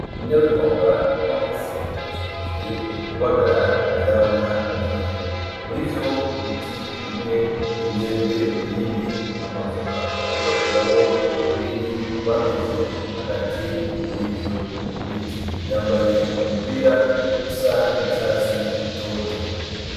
Inarunyonga uno musi yazindukiye kubagara ivyamwa vyiwe , murivyo biti bimwe n’imyembe ibindi n’amavoka . Ariko akuramwo ugwiri gwameze hagati murivyo mu biti , yambaye umupira usa n’icatsi gitoto.